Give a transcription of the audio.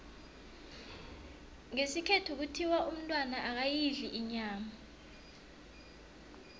ngesikhethu kuthiwa umntwana akayidli inyama